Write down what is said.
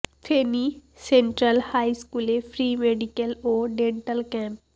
Feni central high স্কুলে free medical ও dental camp